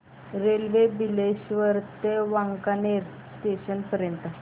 railway Bileshwar ते Wankaner junction पर्यंत